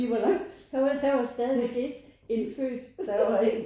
Når der var man stadigvæk ikke indfødt?